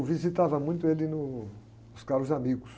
visitava muito ele no.